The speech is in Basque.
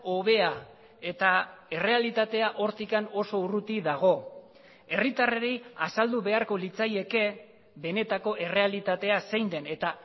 hobea eta errealitatea hortik oso urruti dago herritarrei azaldu beharko litzaieke benetako errealitatea zein den eta